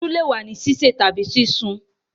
Yam le wa ni sise tabi sisun